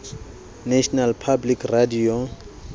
national public radio